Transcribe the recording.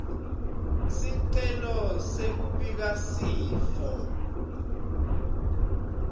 sicelo sekubika sifo